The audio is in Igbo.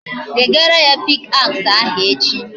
Wegara ya pick axe ahu echi